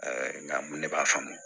nka ne b'a faamu